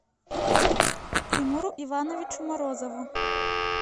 тимуру ивановичу морозову